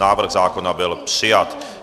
Návrh zákona byl přijat.